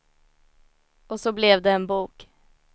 Och så blev det en bok.